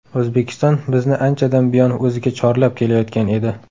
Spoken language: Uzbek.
O‘zbekiston bizni anchadan buyon o‘ziga chorlab kelayotgan edi.